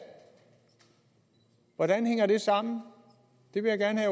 hvordan hænger det sammen det vil jeg